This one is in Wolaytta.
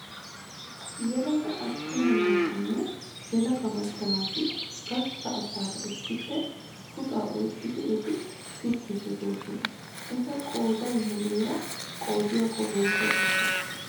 Yelaga attuma naatinne yelaga macca naati gastta asaara issippe puxaa oyiqqidi ati pittiddi diyoonaa? Eta qooda muumeera qoodiyakko woyisaa gidanee?